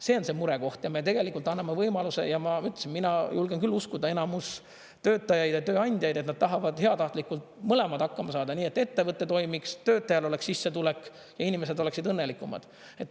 See on see murekoht ja me tegelikult anname võimaluse ja ma ütlesin, et mina julgen küll uskuda enamust töötajaid ja tööandjaid, et nad tahavad heatahtlikult mõlemad hakkama saada nii, et ettevõte toimiks, töötajal oleks sissetulek ja inimesed oleksid õnnelikumad.